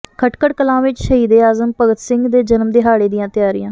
ਖਟਕਡ਼ ਕਲਾਂ ਵਿੱਚ ਸ਼ਹੀਦੇ ਆਜ਼ਮ ਭਗਤ ਸਿੰਘ ਦੇ ਜਨਮ ਦਿਹਾਡ਼ੇ ਦੀਆਂ ਤਿਆਰੀਆਂ